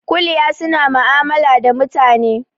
Kuliya suna ma'amala da mutane